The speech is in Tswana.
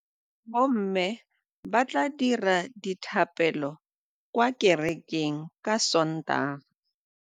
Bommê ba tla dira dithapêlô kwa kerekeng ka Sontaga.